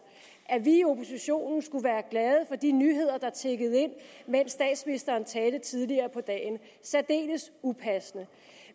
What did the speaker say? at vi i oppositionen skulle være glade for de nyheder der tikkede ind mens statsministeren talte tidligere på dagen særdeles upassende